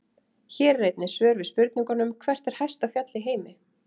Hér er einnig svör við spurningunum: Hvert er hæsta fjall í heimi?